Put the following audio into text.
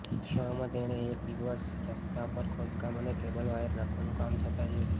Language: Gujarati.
એવામાં તેણે એક દિવસ રસ્તા પર ખોદકામ અને કેબલ વાયર નાખવાનું કામ થતાં જોયું